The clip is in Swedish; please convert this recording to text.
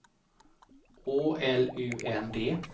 Å L U N D